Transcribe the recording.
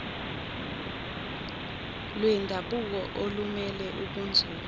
lwendabuko olumele ubunzulu